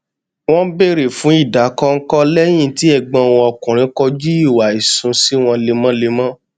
wọn bèrè fún ìdàkọnkọ lẹyìn tí ẹgbọn wọn ọkùnrin kojú ìwà ìṣúnṣ wọn lemọlemọ